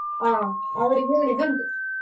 ಆ ಅವ್ರ್ಗೆ ಹೇಳಿದ್ ಉಂಟು.